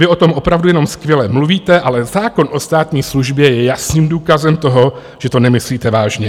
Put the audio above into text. Vy o tom opravdu jenom skvěle mluvíte, ale zákon o státní službě je jasným důkazem toho, že to nemyslíte vážně.